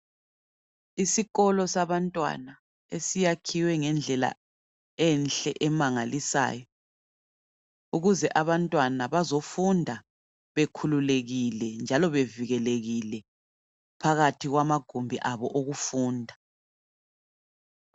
Isikolo sabantwana esiyakhiwe ngendlela enhle emangalisayo ukuze abantwana bazofunda bekhululekile njalo bevikelekile phakathi kwamagumbi abo okufunda.